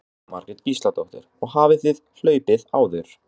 Jóhanna Margrét Gísladóttir: Og hafið þið hlaupið áður?